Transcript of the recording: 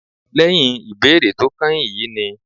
Lẹ́yìn ìbéèrè tó kányìn yìí ni